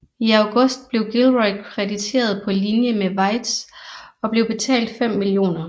I august blev Gilroy krediteret på linje med Weitz og blev betalt 5 mio